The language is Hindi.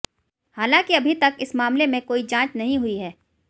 हालांकि अभी तक इस मामले में कोई जांच नहीं हुई है